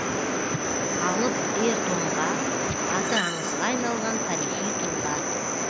алып ер тоңға аты аңызға айналған тарихи тұлға